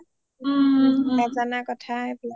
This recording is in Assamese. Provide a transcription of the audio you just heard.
নাজানা কথা সেইবিলাক